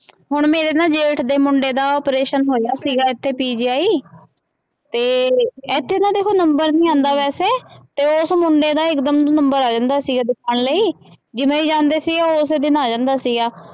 ਹੁਣ ਮੇਰੇ ਨਾ ਜੇਠ ਦੇ ਮੁੰਡੇ ਦਾ operation ਹੋਇਆ ਸੀ ਇੱਥੇ PGI ਤੇ ਇੱਥੇ ਨਾ ਦੇਖੋ number ਨੀ ਆਉਂਦਾ ਵੈਸੇ ਤੇ ਉਸ ਮੁੰਡੇ ਦਾ ਇੱਕਦਮ ਚ number ਆ ਜਾਂਦਾ ਸੀ ਲਈ ਜਿਵੇਂ ਹੀ ਜਾਂਦੇ ਸੀ ਉਸੇ ਦਿਨ ਆ ਜਾਂਦਾ ਸੀਗਾ।